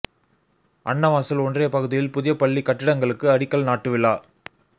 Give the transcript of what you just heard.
அன்னவாசல் ஒன்றிய பகுதியில் புதிய பள்ளி கட்டிடங்களுக்கு அடிக்கல் நாட்டு விழா